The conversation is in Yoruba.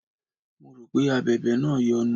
Mo rò pé Abẹ̀bẹ̀ náà yọnu.